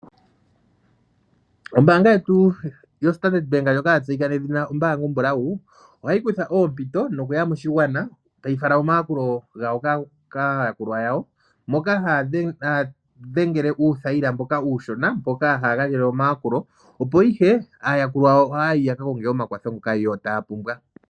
Ombaanga yetu yoStandard Bank ndjoka ya tseyika nedhina ombaanga ombulawu, ohayi kutha oompito, nokuya moshigwana, tayi fala omayakulo gawo kaayakulwa yawo, hoka haya dhengele uuthayila mboka uushona mpoka haya gandjele omayakulo, opo ihe aayakulwa ohaa yi ya ka konge omakwatho ngoka yo taa pumbwa.